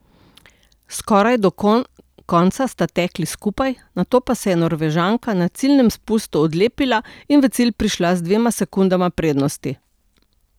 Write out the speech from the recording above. Skoraj do konca sta tekli skupaj, nato pa se je Norvežanka na ciljnem spustu odlepila in v cilj prišla z dvema sekundama prednosti.